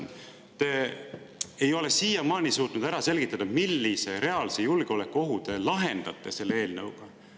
Te ei ole siiamaani suutnud ära selgitada, millise reaalse julgeolekuohu te ära lahendate selle eelnõuga.